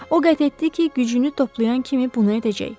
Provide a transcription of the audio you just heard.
O qət etdi ki, gücünü toplayan kimi bunu edəcək.